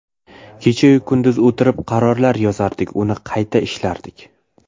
Kecha-yu kunduz o‘tirib, qarorlar yozardik, uni qayta ishlardik.